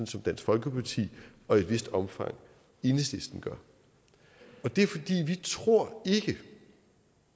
som dansk folkeparti og i et vist omfang enhedslisten gør det er fordi vi ikke tror